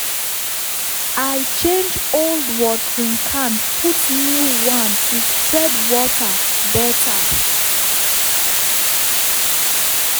i change old watering can put new one to spread water better.